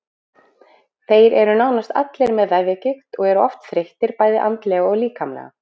Þeir eru nánast allir með vefjagigt og eru oft þreyttir bæði andlega og líkamlega.